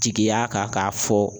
Jigiya ka k'a fɔ